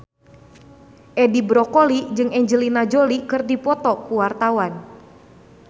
Edi Brokoli jeung Angelina Jolie keur dipoto ku wartawan